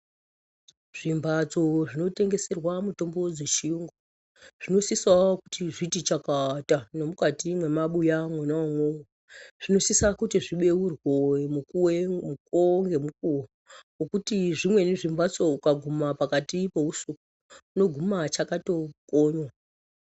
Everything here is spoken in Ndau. Zvimbatso zvinotengeserwa mitombo dzechiyungu zvinosisawo kuti zviti chakata nemukati mwemabuya mwona umwomwo. Zvinosisa kuti zvibeurwe mukuwo ngemukuwo ngokuti zvimweni zvimbatso ukaguma pakati peusiku unoguma zvakatokonywa.